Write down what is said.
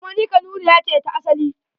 Kuma ni Kanuriya ce da asali.